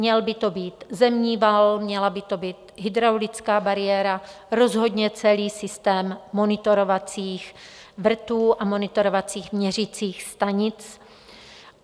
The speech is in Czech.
Měl by to být zemní val, měla by to být hydraulická bariéra, rozhodně celý systém monitorovacích vrtů a monitorovacích měřicích stanic.